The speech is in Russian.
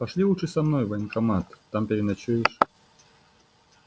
пошли лучше за мной в военкомат там переночуешь